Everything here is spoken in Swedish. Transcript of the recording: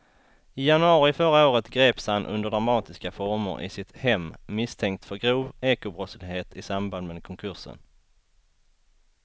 I januari förra året greps han under dramatiska former i sitt hem misstänkt för grov ekobrottslighet i samband med konkursen.